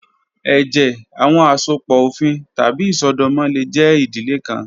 Ẹjẹ, awọn asopọ ofin tabi isọdọmọ le jẹ idile kan